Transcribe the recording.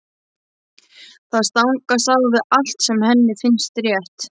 Það stangast á við allt sem henni finnst rétt.